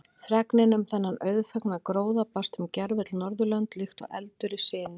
Fregnin um þennan auðfengna gróða barst um gervöll Norðurlönd líkt og eldur í sinu.